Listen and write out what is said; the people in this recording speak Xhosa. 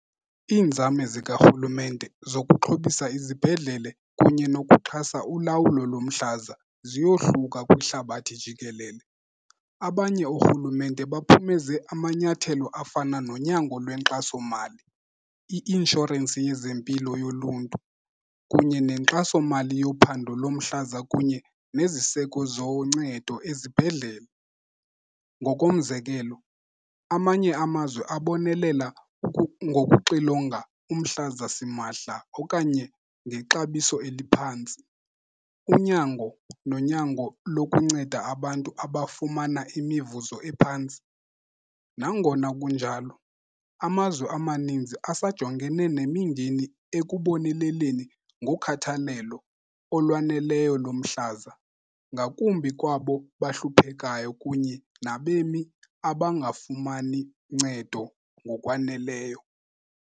Iinzame zikarhulumente zokuxhobisa izibhedlele kunye nokuxhasa ulawulo lomhlaza ziyohluka kwihlabathi jikelele. Abanye oorhulumente baphumeze amanyathelo afana nonyango lwenkxasomali, i-inshorensi yezempilo yoluntu kunye nenkxasomali yophando lomhlaza kunye neziseko zoncedo ezibhedlele. Ngokomzekelo, amanye amazwe abonelela ngokuxilonga umhlaza simahla okanye ngexabiso eliphantsi. Unyango nonyango lokunceda abantu abafumana imivuzo ephantsi. Nangona kunjalo amazwe amaninzi asajongene nemingeni ekuboneleleni ngokhathalelo olwaneleyo lomhlaza, ngakumbi kwabo bahluphekayo kunye nabemi abangafumani ncedo ngokwaneleyo.